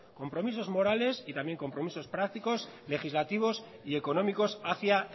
compromisos morales y también compromisos prácticos legislativos y económicos hacia